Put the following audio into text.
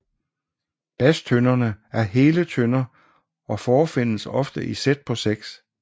Bastønderne er hele tønder og forefindes ofte i sæt på seks